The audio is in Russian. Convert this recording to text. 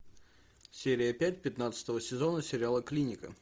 серия пять пятнадцатого сезона сериала клиника